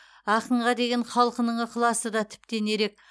ақынға деген халқының ықыласы да тіптен ерек